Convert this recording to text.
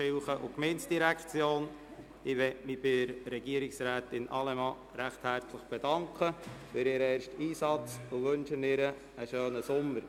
Ich bedanke mich bei Regierungsrätin Allemann recht herzlich für ihren ersten Einsatz und wünsche ihr einen schönen Sommer.